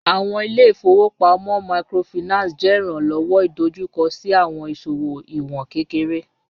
Awọn ile-ifowopamọ Microfinance jẹ iranlọwọ idojukọ si awọn iṣowo iwọn kekere